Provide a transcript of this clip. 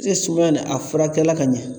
sumaya nin a furakɛli la ka ɲɛ?